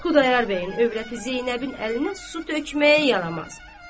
Xudayar bəyin övrəti Zeynəbin əlinə su tökməyə yaramaz.